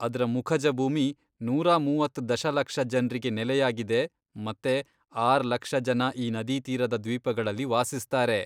ಅದ್ರ ಮುಖಜ ಭೂಮಿ ನೂರಾ ಮೂವತ್ತ್ ದಶಲಕ್ಷ ಜನ್ರಿಗೆ ನೆಲೆಯಾಗಿದೆ ಮತ್ತೆ ಆರ್ ಲಕ್ಷ ಜನ ಈ ನದಿತೀರದ ದ್ವೀಪಗಳಲ್ಲಿ ವಾಸಿಸ್ತಾರೆ.